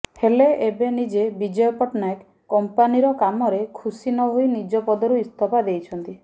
ହେଲେ ଏବେ ନିଜେ ବିଜୟ ପଟ୍ଟନାୟକ କଂପାନୀର କାମରେ ଖୁସି ନହୋଇ ନିଜ ପଦରୁ ଇସ୍ତଫା ଦେଇଛନ୍ତି